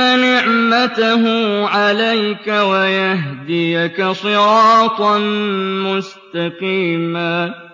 نِعْمَتَهُ عَلَيْكَ وَيَهْدِيَكَ صِرَاطًا مُّسْتَقِيمًا